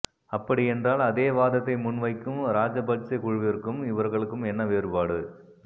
அப்படி என்றால் அதே வாதத்தை முன் வைக்கும் ராசபட்சே குழுவிற்கும் இவர்களுக்கும் என்ன வேறுபாடு